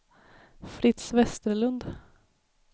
Fritz Westerlund